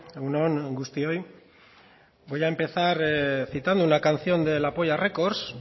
egun on guztioi voy a empezar citando una canción de la polla records